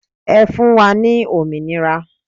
Ẹ fún wa ní òmìnira